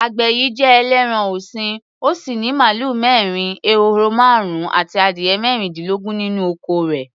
Àgbẹ̀ yìí jẹ ẹlẹ́ran-ọ̀sìn, ó sì ní màlúù mẹ́rin, ehoro márùn-ún àti adìyẹ mẹ́rìndínlógún nínú oko rẹ̀.